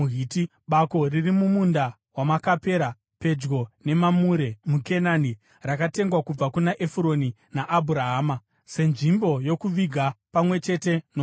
bako riri mumunda weMakapera, pedyo neMamure muKenani, rakatengwa kubva kuna Efuroni naAbhurahama senzvimbo yokuviga pamwe chete nomunda.